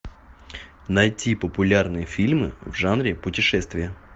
найти популярные фильмы в жанре путешествия